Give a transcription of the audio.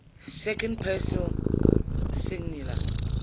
second person singular